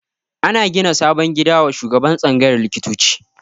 Ana gina sabon gida wa shugaban tsangayar likitoci